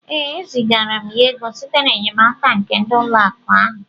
Ee, e zigara m ya ego site n'enyemaka nke ụlọ akụ ahụ